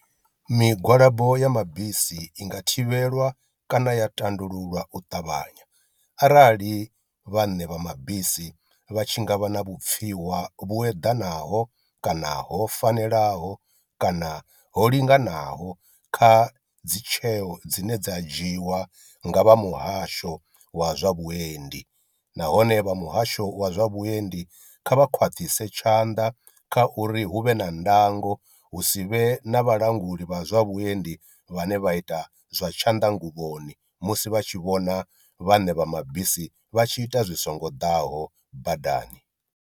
Migwalabo ya mabisi i nga thivhelwa kana ya tandululwa u ṱavhanya arali vhaṋe vha mabisi vha tshi ngavha na vhupfiwa vhu eḓanaho kana ho fanelaho kana ho linganaho kha dzi tsheo dzine dza dzhiwa nga vha muhasho wa zwa vhuendi, nahone vha muhasho wa zwa vhuendi kha vha khwaṱhise tshanḓa kha uri hu vhe na ndango hu si vhe na vhalanguli vha zwa vhuendi vhane vha ita zwa tshanḓanguvhoni musi vha tshi vhona vhaṋe vha mabisi vha tshi ita zwi songo ḓaho badani.